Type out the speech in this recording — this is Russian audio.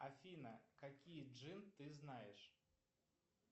афина какие джин ты знаешь